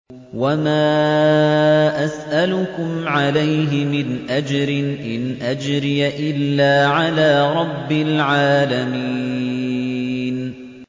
وَمَا أَسْأَلُكُمْ عَلَيْهِ مِنْ أَجْرٍ ۖ إِنْ أَجْرِيَ إِلَّا عَلَىٰ رَبِّ الْعَالَمِينَ